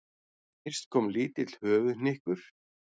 Fyrst kom lítill höfuðhnykkur.